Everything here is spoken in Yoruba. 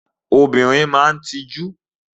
Obìnrin máa ń tijú.